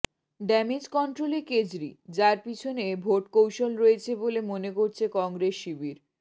damage কন্ট্রোলে কেজরি যার পিছনে ভোট কৌশল রয়েছে বলে মনে করছে কংগ্রেস শিবির